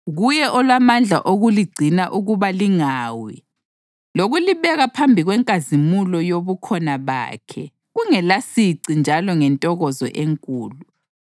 Kuye olamandla okuligcina ukuba lingawi, lokulibeka phambi kwenkazimulo yobukhona bakhe kungelasici njalo ngentokozo enkulu,